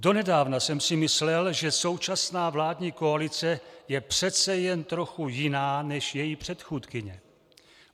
Donedávna jsem si myslel, že současná vládní koalice je přece jen trochu jiná než její předchůdkyně.